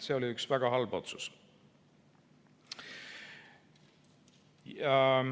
See oli üks väga halb otsus.